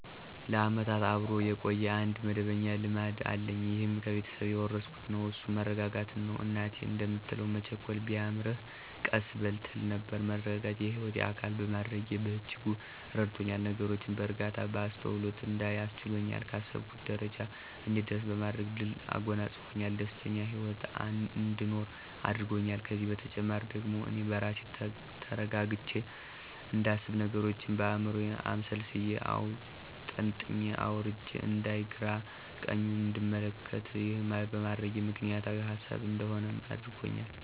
ለዓመታት አብሮ የቆየ አንድ መደበኛ ልማድ አለኝ ይህም ከቤተሰብ የወረስኩት ነው እሱም መረጋጋትን ነው። እናቴ እንደምትለው መቸኮል ቢያምርህ ቀስ በል ትል ነበር። መረጋጋትን የህይወቴ አካል በማድረጌ በእጅጉ ረድቶኛል፤ ነገሮችን በእርጋታ፣ በአስተውሎት እንዳይ አስችሎኛል፣ ካሰብኩት ጀረጃ እንድደርስ በማድረግ ድልን አጎናጸፅፎኛል፣ ደስተኛ ሂወትን አንድኖር አድርጎኛል። ከዚህም በተጨማሪ ደግሞ አኔ በራሴ ተረጋግቸ እንዳስብ፥ ነገሮችን በአይምሮየ አምሰልስየና አውጠንጥኘ አውርጀ አንዳይ፥ ግራና ቀኙን እንድመለከት፣ ይህን በማድረጌ ምክንያታዊ ሀሳቢ እንድሆንም አድርጎኛል።